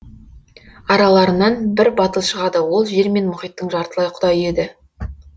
араларынан бір батыл шығады ол жер мен мұхиттың жатртылай құдайы еді